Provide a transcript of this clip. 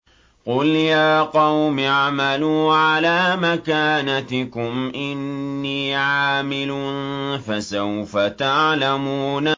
قُلْ يَا قَوْمِ اعْمَلُوا عَلَىٰ مَكَانَتِكُمْ إِنِّي عَامِلٌ ۖ فَسَوْفَ تَعْلَمُونَ